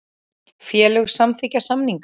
Félög samþykkja samninga